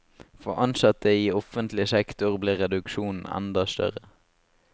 For ansatte i offentlig sektor blir reduksjonen enda større.